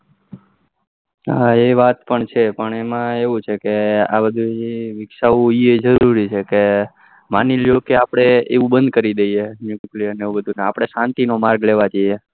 હા એ વાત પણ છે પણ એમાં એવું છે કે આ બધું વિકસાવું જરૂરી છે કે માની લો કે આપડે એવું બંધ કરી દઈએ એ nuclear એ બધું અને આપડે શાંતિ નો માર્ગ લેવા જઈએ